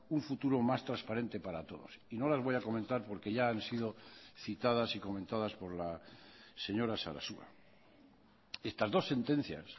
un futuro más transparente para todos y no las voy a comentar porque ya han sido citadas y comentadas por la señora sarasua estas dos sentencias